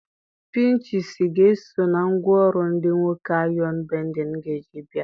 Pinchisi ga-eso na ngwaọrụ ndị nwoke ayọn bendịn ga-eji bịa.